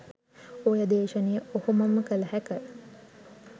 ඔය දේශනය ඔහොමම කළ හැක.